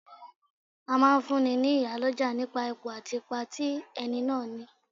A máa fún ní, ní iyálọ́jà nipa Ipò àti ipa tí ẹni náà ní.